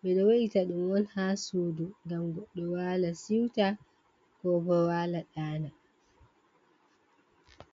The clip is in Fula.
ɓeɗo we’ita ɗum on ha suudu ngam goɗɗo wala siuta ko bo wala daana.